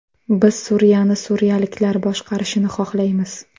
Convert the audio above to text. Biz Suriyani suriyaliklar boshqarishini xohlaymiz.